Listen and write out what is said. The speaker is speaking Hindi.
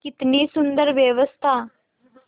कितनी सुंदर व्यवस्था